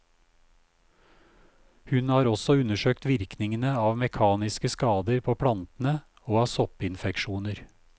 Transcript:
Hun har også undersøkt virkningene av mekaniske skader på plantene, og av soppinfeksjoner.